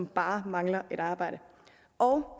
bare mangler et arbejde